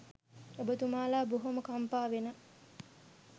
ඔබතුමාලා බොහොම කම්පා වෙන